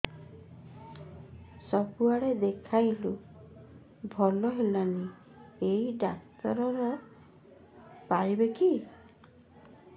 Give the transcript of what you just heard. ସବୁଆଡେ ଦେଖେଇଲୁ ଭଲ ହେଲାନି ଏଇ ଡ଼ାକ୍ତର ପାରିବେ କି